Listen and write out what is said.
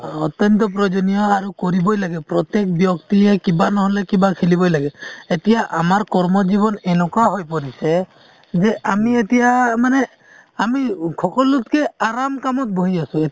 অত্যন্ত প্ৰয়োজনীয় আৰু কৰিবই লাগে, প্ৰত্যেক ব্যক্তিয়ে কিবা নহলে কিবা খেলিবই লাগে , এতিয়া আমাৰ কৰ্ম জীবন এনেকুৱা হৈ পৰিছে যে আমি এতিয়া মানে আমি সকলোতকে আৰাম কামও বহি আছো |